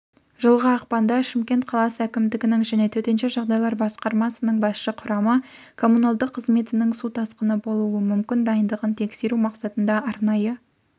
жылғы ақпанда шымкент қаласы әкімдігінің және төтенше жағдайлар басқармасының басшы құрамы коммуналдық қызметінің су тасқыны болуы мумкін дайындығын тексеру мақсатында арнайы